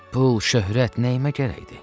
Pul, şöhrət nəyimə gərəkdir?